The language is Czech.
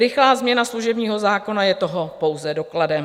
Rychlá změna služebního zákona je toho pouze dokladem.